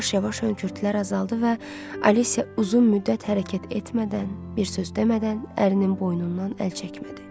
Yavaş-yavaş hönkürtülər azaldı və Alicia uzun müddət hərəkət etmədən, bir söz demədən ərinin boynundan əl çəkmədi.